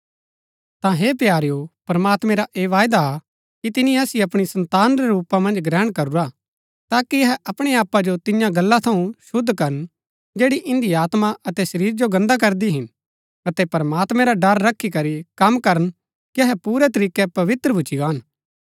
ता हे प्यारेओ प्रमात्मैं रा ऐह वायदा हा कि तिनी असिओ अपणी सन्तान रै रूपा मन्ज ग्रहण करुरा हा ताकि अहै अपणै आपा जो तियां गल्ला थऊँ शुद्ध करन जैड़ी इन्दी आत्मा अतै शरीर जो गन्दा करदी हिन अतै प्रमात्मैं रा ड़र रखी करी कम करन कि अहै पूरै तरीकै पवित्र भूच्ची गान